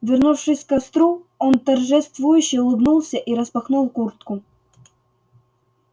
вернувшись к костру он торжествующе улыбнулся и распахнул куртку